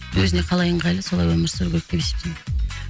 өзіне қалай ыңғайлы солай өмір сүру керек деп есептеймін